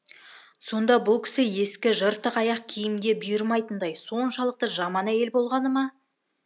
сонда бұл кісі ескі жыртық аяқ киімде бұйырмайтындай соншалықты жаман әйел болғаныма